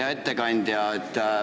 Hea ettekandja!